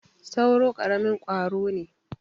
sauro karamin kwaro ne